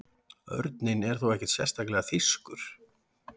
Örninn er þó ekki sérstaklega þýskur.